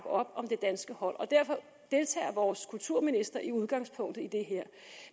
op om det danske hold og derfor deltager vores kulturminister som udgangspunkt i det her